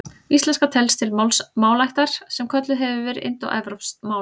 Íslenska telst til málaættar sem kölluð hefur verið indóevrópsk mál.